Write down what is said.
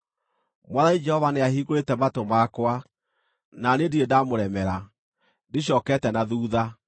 Mwathani Jehova nĩahingũrĩte matũ makwa, na niĩ ndirĩ ndamũremera; ndicookete na thuutha.